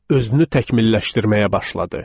Özünü təkmilləşdirməyə başladı.